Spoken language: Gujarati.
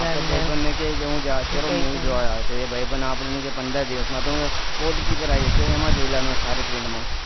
અપના ભાઈબંધ ને કે છે હું અત્યારે movie જાવ છું તો એ ભાઈબંધ કે આપણે કે પંદર દિવસ માં તો માં ઉપર આવી જશે એમાં જોઈ લેવાનું સારી print માં